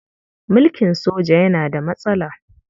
Mulkin soja yana da matsala.